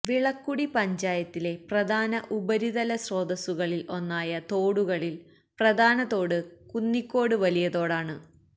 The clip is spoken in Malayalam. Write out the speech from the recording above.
വിളക്കുടി പഞ്ചായത്തിലെ പ്രധാന ഉപരിതല സ്രോതസ്സുകളിൽ ഒന്നായ തോടുകളിൽ പ്രധാനതോട് കുന്നിക്കോട് വലിയതോടാണ്